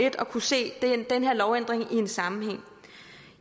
at kunne se den her lovændring i en sammenhæng